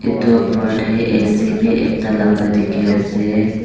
etu opor dae a c bi ekta laka diki asae.